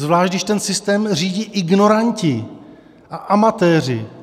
Zvlášť když ten systém řídí ignoranti a amatéři.